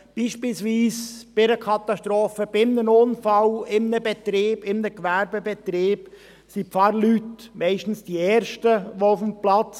Bei einer Katastrophe, bei einem Unfall, etwa in einem Gewerbebetrieb, sind die Pfarrleute meistens die ersten auf dem Platz.